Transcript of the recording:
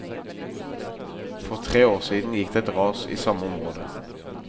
For tre år siden gikk det et ras i samme område.